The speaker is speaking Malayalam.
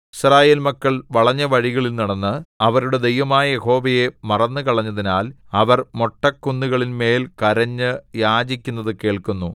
യിസ്രായേൽ മക്കൾ വളഞ്ഞ വഴികളിൽ നടന്ന് അവരുടെ ദൈവമായ യഹോവയെ മറന്നുകളഞ്ഞതിനാൽ അവർ മൊട്ടക്കുന്നുകളിന്മേൽ കരഞ്ഞു യാചിക്കുന്നതു കേൾക്കുന്നു